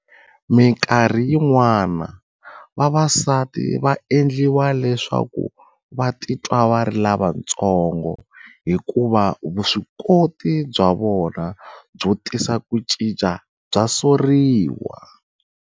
Mikarhi yin'wana, vavasati va endliwa leswaku va titwa va ri lavatsongo hikuva vuswikoti bya vona byo tisa ku cinca bya soriwa.